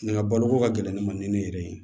Nga baloko ka gɛlɛn ne ma ni ne yɛrɛ ye